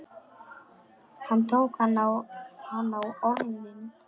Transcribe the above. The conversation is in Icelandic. Hann tók hana á orðinu.